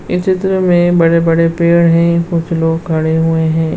इस चित्र मे बड़े बड़े पेड़ हैं बहुत से लोग खड़े हुए हैं।